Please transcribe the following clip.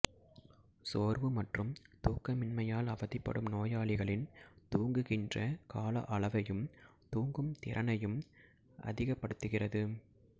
சோர்வு மற்றும் தூக்கமின்மையால் அவதிப்படும் நோயாளிகளின் தூங்குகின்ற கால அளவையும் தூங்கும் திறனையும் அதிகப்படுத்துகிறது